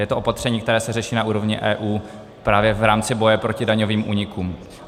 Je to opatření, které se řeší na úrovni EU právě v rámci boje proti daňovým únikům.